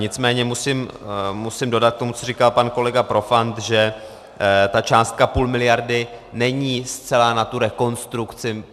Nicméně musím dodat k tomu, co říkal pan kolega Profant, že ta částka půl miliardy není zcela na tu rekonstrukci.